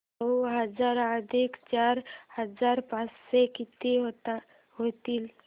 नऊ हजार अधिक चार हजार पाचशे किती होतील